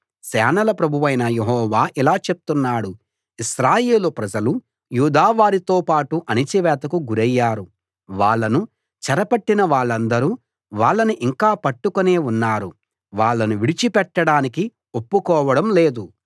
సేనల ప్రభువైన యెహోవా ఇలా చెప్తున్నాడు ఇశ్రాయేలు ప్రజలు యూదా వారితో పాటు అణచివేతకు గురయ్యారు వాళ్ళను చెర పట్టిన వాళ్ళందరూ వాళ్ళని ఇంకా పట్టుకునే ఉన్నారు వాళ్ళను విడిచి పెట్టడానికి ఒప్పుకోవడం లేదు